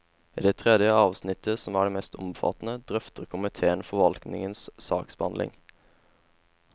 I det tredje avsnittet, som er det mest omfattende, drøfter komiteen forvaltningens saksbehandling.